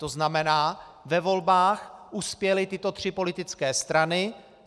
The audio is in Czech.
To znamená, ve volbách uspěly tyto tři politické strany.